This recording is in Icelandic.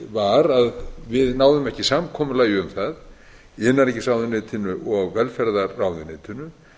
var að við náðum ekki samkomulagi um það í innanríkisráðuneytinu og velferðarráðuneytinu